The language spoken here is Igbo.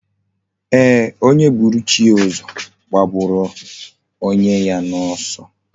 Eeh, onye buru chi ya uzo, gbagburu onye ya na oso